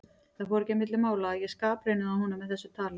Það fór ekki á milli mála að ég skapraunaði honum með þessu tali.